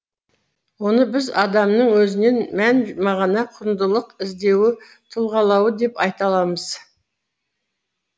оны біз адамның өзінен мән мағына құндылық іздеуі тұлғалауы деп айта аламыз